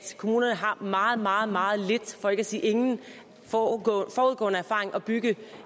kommunerne har meget meget meget lidt for ikke at sige ingen forudgående erfaring at bygge